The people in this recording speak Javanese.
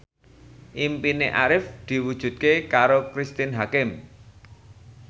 impine Arif diwujudke karo Cristine Hakim